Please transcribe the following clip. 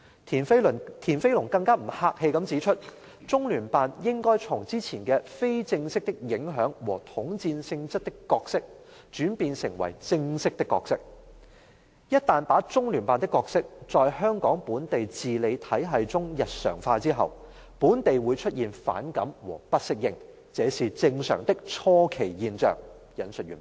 "田飛農更不客氣地指出："中聯辦應該從之前的非正式的影響和統戰性質的角色轉變成為正式的角色，一旦把中聯辦的角色在香港本地自理體系中日常化後，本地會出現反感和不適應，這是正常的初期現象"，引述完畢。